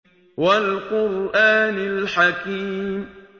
وَالْقُرْآنِ الْحَكِيمِ